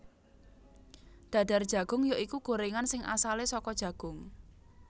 Dadar Jagung ya iku gorengan sing asale saka jagung